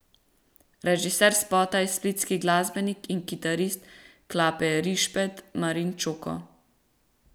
Režiser spota je splitski glasbenik in kitarist klape Rišpet, Marin Čoko.